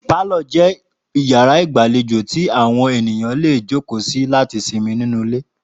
Pálò̩ jé̩ yàrá ìgbàlejò tí àwo̩n ènìyàn lè jókòó sí láti simi nínú ilé